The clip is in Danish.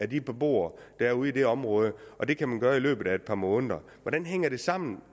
de beboere der er ude i det område og det kan man gøre i løbet af et par måneder hvordan hænger det sammen